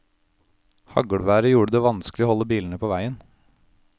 Haglværet gjorde det vanskelig å holde bilene på veien.